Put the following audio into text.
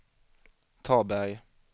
Taberg